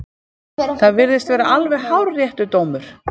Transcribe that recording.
Það virðist vera alveg hárréttur dómur.